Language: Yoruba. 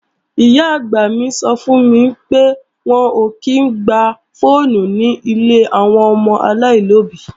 Ìyá-àgbà mi sọ fún mi pé, wọn ò kí í ń gba fọ́ọ̀nù nílé àwọn ọmọ aláìlóbí.